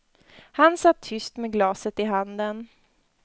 Han satt tyst med glaset i handen.